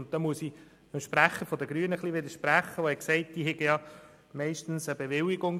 Hier widerspreche ich ein wenig dem Sprecher der Grünen, der gesagt hat, die Fahrenden hätten ja meistens eine Bewilligung.